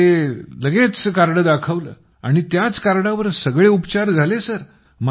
मग मी लगेच ते कार्ड दाखवले आणि त्याच कार्डवर सगळे उपचार झाले